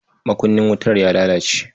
Makunnin wutar ya lalace.